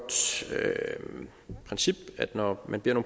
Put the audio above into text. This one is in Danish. princip at når man beder